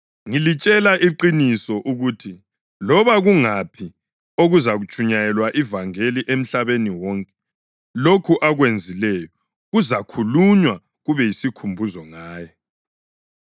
Ngilitshela iqiniso ukuthi loba kungaphi okuzatshunyayelwa ivangeli emhlabeni wonke, lokho akwenzileyo kuzakhulunywa, kube yisikhumbuzo ngaye.”